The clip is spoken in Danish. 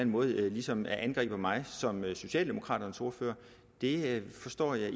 måde ligesom angriber mig som socialdemokraternes ordfører forstår jeg